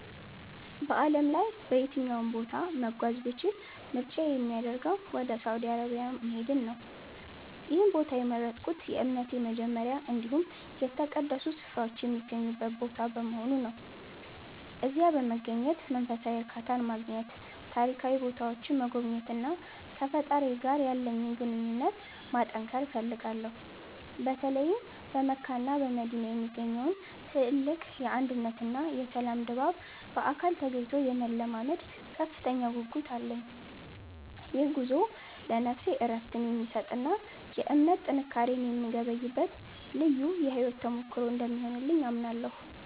በዓለም ላይ በየትኛውም ቦታ መጓዝ ብችል ምርጫዬ የሚያደርገው ወደ ሳውዲ አረቢያ መሄድን ነው። ይህን ቦታ የመረጥኩት የእምነቴ መጀመሪያ እንዲሁም የተቀደሱ ስፍራዎች የሚገኙበት ቦታ በመሆኑ ነው። እዚያ በመገኘት መንፈሳዊ እርካታን ማግኘት፤ ታሪካዊ ቦታዎችን መጎብኘትና ከፈጣሪዬ ጋር ያለኝን ግንኙነት ማጠንከር እፈልጋለሁ። በተለይም በመካና በመዲና የሚገኘውን ትልቅ የአንድነትና የሰላም ድባብ በአካል ተገኝቶ የመለማመድ ከፍተኛ ጉጉት አለኝ። ይህ ጉዞ ለነፍሴ እረፍትን የሚሰጥና የእምነት ጥንካሬን የምገበይበት ልዩ የሕይወት ተሞክሮ እንደሚሆንልኝ አምናለሁ።